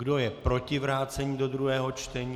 Kdo je proti vrácení do druhého čtení?